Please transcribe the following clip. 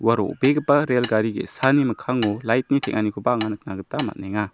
ua ro·begipa rel gari ge·sani mikkango light-ni teng·anikoba anga nikna gita man·enga.